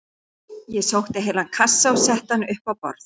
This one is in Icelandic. Ég sótti heilan kassa og setti hann upp á borð.